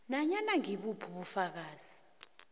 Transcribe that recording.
nanyana ngibuphi ubufakazi